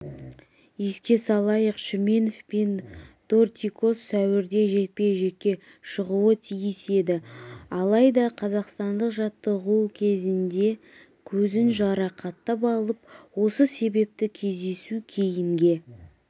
еске салайық шүменов пен дортикос сәуірде жекпе-жекке шығуы тиіс еді алайда қазақстандық жаттығу кезінде көзін жарақаттап алып осы себепті кездесу кейінге